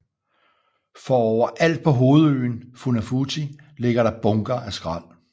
For overalt på hovedøen Funafuti ligger der bunker af skrald